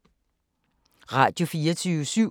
Radio24syv